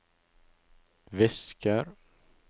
visker